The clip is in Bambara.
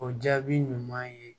O jaabi ɲuman ye